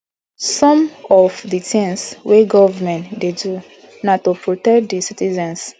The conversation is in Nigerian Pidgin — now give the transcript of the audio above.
some of di tins wey government dey do na to protect di citizens